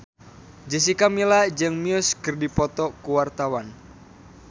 Jessica Milla jeung Muse keur dipoto ku wartawan